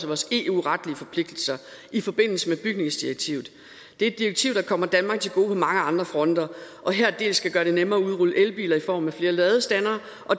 vores eu retlige forpligtelser i forbindelse med bygningsdirektivet det er et direktiv der kommer danmark til gode på mange andre fronter og her dels skal gøre det nemmere at udrulle elbiler i form af flere ladestandere